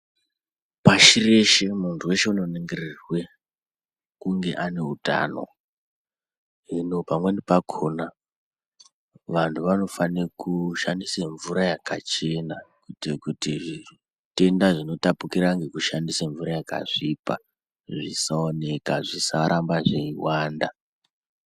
Pashi reshe muntu weshe unoningirirwe kunge ane utano. Hino pamweni pakhona vantu vanofanire kushandise mvura yakachena kuitire kuti zvitenda zvinotapukira ngekushandisa yakasvipa zvisaoneka, zvisarambe zveiwanda.